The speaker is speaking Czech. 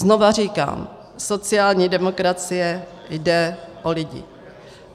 Znova říkám, sociální demokracii jde o lidi.